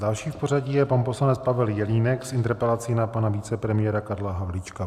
Další v pořadí je pan poslanec Pavel Jelínek s interpelací na pana vicepremiéra Karla Havlíčka.